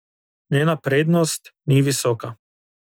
Njena prednost ni visoka.